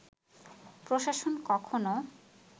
প্রশাসন কখনো